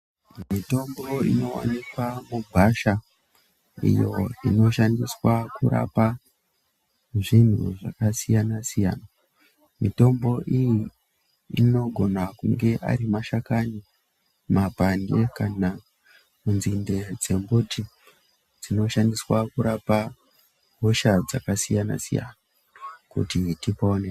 Mitombo inowanikwa mugwasha iyo inoshandiswa kurapa zvinhu zvakasiyana siyana. Mitombo iyi anogona kunge ari mashakani, mapande kana nzinde dzemuti dzinoshandiswa kurapa hosha dzakasiyana siyana kuti tipone.